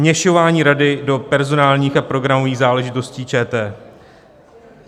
Vměšování rady do personálních a programových záležitostí ČT.